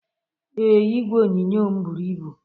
Ee, igwe onyonyo m buru ibu